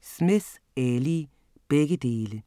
Smith, Ali: Begge dele